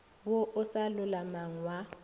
wo o sa lolamang wa